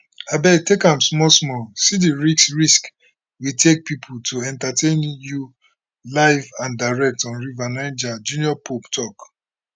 abeg take am small small see di risk risk we take pipo to entertain you live and direct on river niger junior pope tok